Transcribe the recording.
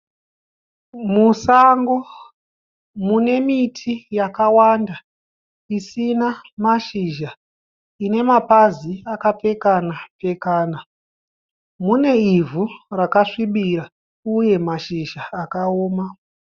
Musango mune miti yakawanda isina mashizha ine mapazi akapfekana pfekana. Mune ivhu rakasvibira uye mashizha akaoma.